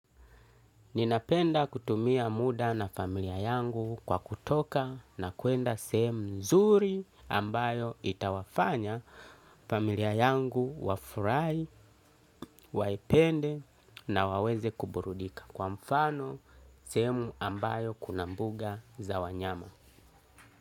Ninapenda kutumia muda na familia yangu kwa kutoka na kuenda sehemu nzuri ambayo itawafanya familia yangu wafurahi waipende na waweze kuburudika. Kwa mfano sehemu ambayo kuna mbuga za wanyama.